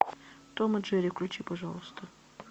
том и джерри включи пожалуйста